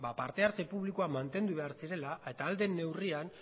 parte hartzeko publikoak mantendu behar zirela eta ahal den neurrian